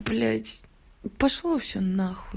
блядь пошло всё на хуй